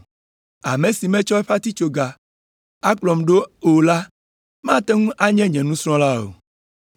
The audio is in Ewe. Ame si matsɔ eƒe atitsoga akplɔm ɖo o la mate ŋu anye nye nusrɔ̃la o.